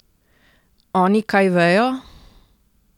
Oni kaj vejo?